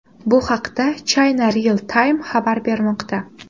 Bu haqda China Real Time xabar bermoqda .